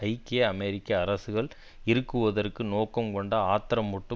ஐக்கிய அமெரிக்க அரசுகள் இறுக்குவதற்கு நோக்கம் கொண்ட ஆத்திரமூட்டும்